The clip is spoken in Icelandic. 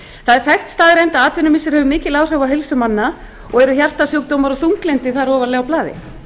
er þekkt staðreynd að atvinnumissir hefur mikil áhrif á heilsu manna og eru hjartasjúkdómar og þunglyndi þar ofarlega á blaði